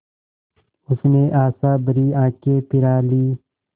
उसने आशाभरी आँखें फिरा लीं